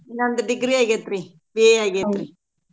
ನಂದ್ degree ಆಗೇತ್ರೀ BA ಆಗೇತ್ರೀ.